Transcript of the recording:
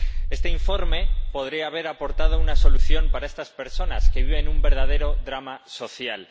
Este informe podría haber aportado una solución para estas personas, que viven un verdadero drama social.